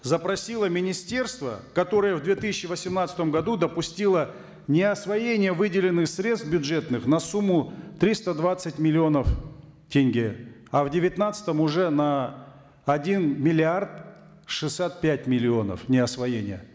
запросило министерство которое в две тысячи восемнадцатом году допустило неосвоение выделенных средств бюджетных на сумму триста двадцать миллионов тенге а в девятнадцатом уже на один миллиард шестьдесят пять миллионов неосвоения